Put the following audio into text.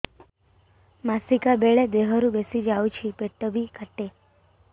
ମାସିକା ବେଳେ ଦିହରୁ ବେଶି ଯାଉଛି ପେଟ ବି କାଟେ